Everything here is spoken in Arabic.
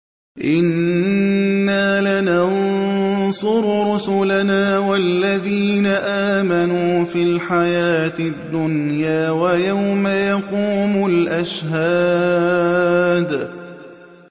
إِنَّا لَنَنصُرُ رُسُلَنَا وَالَّذِينَ آمَنُوا فِي الْحَيَاةِ الدُّنْيَا وَيَوْمَ يَقُومُ الْأَشْهَادُ